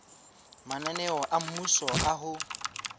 mananeo a mmuso a ho